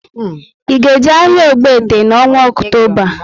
I ga eje áhiá Ogbete n' ọnwa Ọktoba?